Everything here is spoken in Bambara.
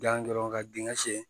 Gilan dɔrɔn ka dingɛ sen